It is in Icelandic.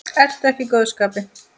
Ertu ekki í góðu skapi?